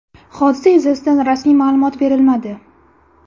Hodisa yuzasidan rasmiy ma’lumot berilmadi.